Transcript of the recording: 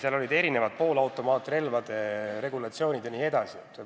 Seal olid mitmesugused poolautomaatrelvi käsitlevad sätted jne.